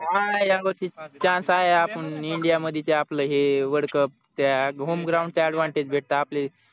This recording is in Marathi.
हा या वर्षी चार सहा वेळा आपण india मधीचये आपलं हे world cup त्या home ground advantage भेटतं आपलं